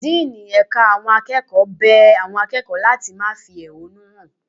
Díínì ẹ̀ka àwọn akẹ́kọ̀ọ́ bẹ àwọn akẹ́kọ̀ọ́ láti má fi ehúnú hàn.